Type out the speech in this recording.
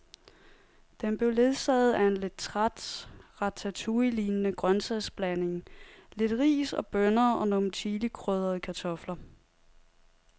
Den blev ledsaget af en lidt træt ratatouillelignende grøntsagsblanding, lidt ris og bønner og nogle chilikrydrede kartofler.